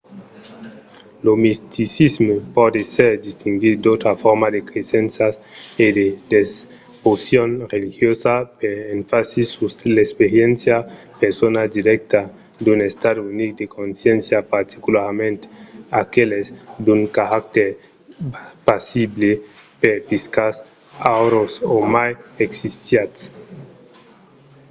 lo misticisme pòt èsser distinguit d'autras formas de cresenças e de devocion religiosa per son enfasi sus l'experiéncia persona dirècta d'un estat unic de consciéncia particularament aqueles d'un caractèr pasible perspicaç aürós o mai extasiat